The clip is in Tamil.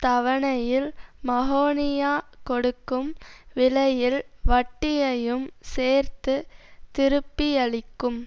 தவணையில் மஹோனியா கொடுக்கும் விலையில் வட்டியையும் சேர்த்து திருப்பியளிக்கும்